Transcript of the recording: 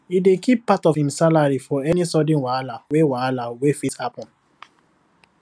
he dey keep part of him salary for any sudden wahala wey wahala wey fit happen